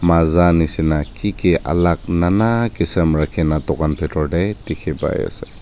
maaza nishina ki ki alak nana kisum rakhi na tokan bitor tey dikhi pai ase.